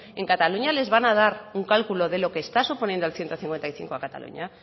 en cataluña les van a dar un cálculo de lo está suponiendo el ciento cincuenta y cinco a cataluña